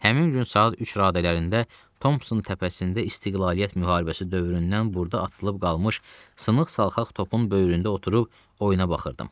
Həmin gün saat üç radələrində Tomson təpəsində istiqlaliyyət müharibəsi dövründən burada atılıb qalmış sınıq-salxaq topun böyründə oturub oyuna baxırdım.